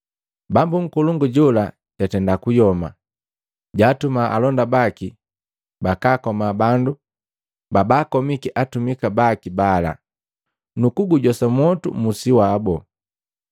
Bambu nkolongu jola jatenda kuyoma. Jaatuma alonda baki bakaakoma bandu babakomiki atumika baki bala, nukugujosa mwotu musi wabu.